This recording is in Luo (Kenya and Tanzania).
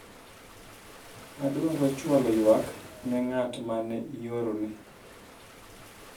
adwaro chwalo ywak ne ng'at mane iorone